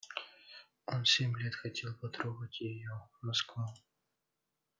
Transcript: он семь лет хотел потрогать её москва